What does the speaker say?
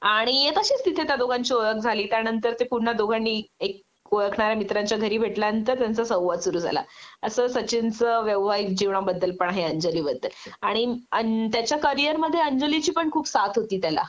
आणि तशीच तिथे त्या दोघांची ओळख झाली त्यानंतर ते पुन्हा दोघांनी एक ओळखणाऱ्या मित्राच्या घरी भेटल्यानंतर त्यांचा संवाद सुरु झाला असं सचिनचं वैवाहिक जीवनाबद्दल पण आहे अंजलीबद्दल आणि त्याच्या कॅरिअरमध्ये अंजलीची पण खूप साथ होती त्याला